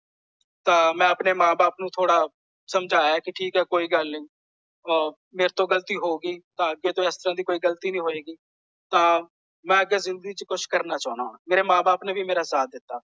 ਤਾਂ ਮੈਂ ਆਪਣੇ ਮਾਂ ਬਾਪ ਨੂੰ ਥੋੜਾ ਸਮਝਾਇਆ ਕਿ ਠੀਕ ਹੈ ਕੋਈ ਗੱਲ ਨਹੀਂ। ਅਹ ਮੇਰੇ ਤੋਂ ਗਲਤੀ ਹੋ ਗਈ। ਤਾਂ ਅੱਗੇ ਤੋਂ ਇਸ ਤਰਾਂ ਦੀ ਕੋਈ ਗਲਤੀ ਨਹੀਂ ਹੋਏਗੀ। ਤਾਂ ਮੈਂ ਅੱਗੇ ਜਿੰਦਗੀ ਚ ਕੁੱਝ ਕਰਨਾ ਚਾਹੁੰਦਾ ਹਾਂ। ਮੇਰੇ ਮਾਂ ਬਾਪ ਨੇ ਵੀ ਮੇਰਾ ਸਾਥ ਦਿੱਤਾ।